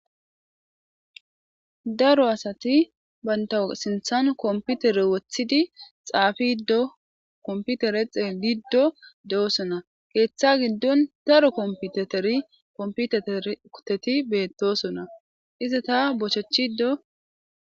daro asati baynta sinthan komputere wothidi xaafiddo komputere xeeliddo de7osona keeththa giddon daro kompiteteri komputeter kuteti beettosona iza ta bochechido